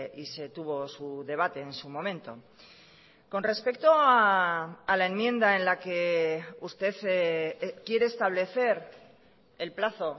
y se tuvo su debate en su momento con respecto a la enmienda en la que usted quiere establecer el plazo